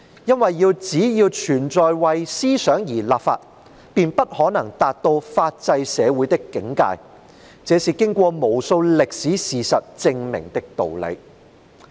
因為只要存在為思想而立法，便不可能達到法制社會的境界，這是經過無數歷史事實證明的道理。